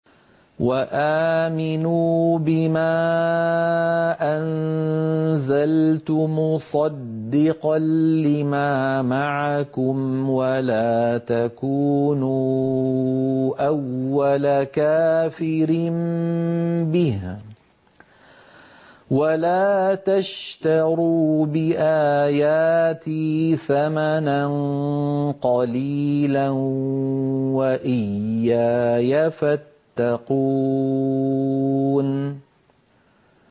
وَآمِنُوا بِمَا أَنزَلْتُ مُصَدِّقًا لِّمَا مَعَكُمْ وَلَا تَكُونُوا أَوَّلَ كَافِرٍ بِهِ ۖ وَلَا تَشْتَرُوا بِآيَاتِي ثَمَنًا قَلِيلًا وَإِيَّايَ فَاتَّقُونِ